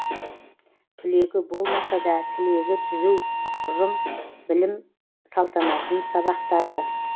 түлегі болмаса да тілегі түзу ұжым білім салтанатын сабақтады